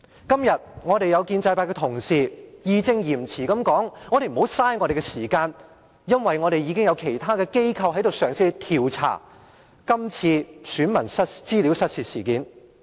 今天，有建制派同事義正詞嚴地說：不要浪費大家的時間，因為已有其他機構嘗試調查這次選民資料失竊事件。